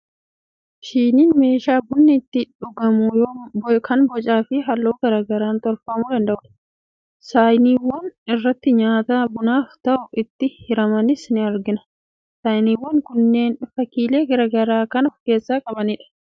Shiniin meeshaa bunni itti dhugamu kan bocaa fi halluu garaa garaan tolfamuu danda'udha. Saayiniiwwan irratti nyaata bunaaf ta'u itti hiramanis ni argina. Saayinaawwan kunneen fakkiilee garaa garaa kan of irraa qabanidha.